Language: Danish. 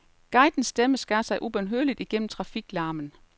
Guidens stemme skar sig ubønhørligt igennem trafiklarmen.